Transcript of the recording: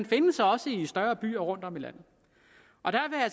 findes også i større byer rundtom i landet